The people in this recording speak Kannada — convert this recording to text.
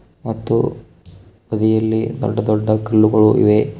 ಮತ್ತು ತುದಿಯಲ್ಲಿ ದೊಡ್ಡ ದೊಡ್ಡ ಕಲ್ಲುಗಳು ಇವೆ.